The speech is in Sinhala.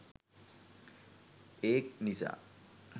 ඒක් නිසා